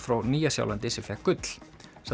frá Nýja Sjálandi sem fékk gull